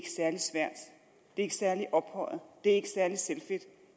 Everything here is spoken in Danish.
ikke særlig ophøjet det er ikke særlig selvfedt